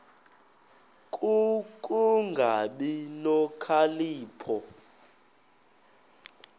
ku kungabi nokhalipho